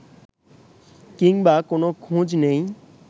কিংবা কোনো খোঁজ নেই